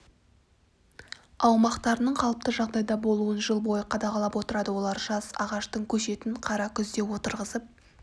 аумақтарының қалыпты жағдайда болуын жыл бойы қадағалап отырады олар жас ағаштың көшетін қара күзде отырғызып